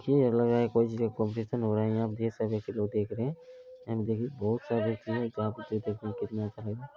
ये लग रहा है कोई चीज का कंपटीशन हो रहा है यहां ये सभी देख रहे हैं कितना अच्छा लग रहा है।